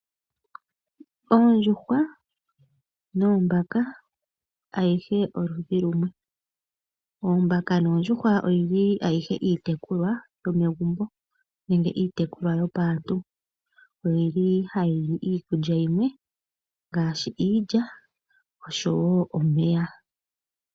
Oondjuhwa noombaka ayihe oludhi lumwe. Oombaka noondjuhwa oyili ayihe iitekulwa yomegumbo nenge iitekulwa yopaantu. Oyili ayihe hayi li iikulya yimwe ngaashi iilya osho wo omeya.